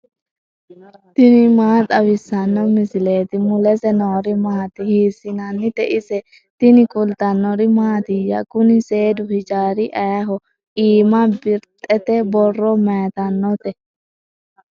tini maa xawissanno misileeti ? mulese noori maati ? hiissinannite ise ? tini kultannori mattiya? Kunni seedu hijjarri ayiiho? iimma birixxette borro mayiittanotte?